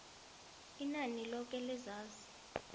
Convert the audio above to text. inani loke lezazi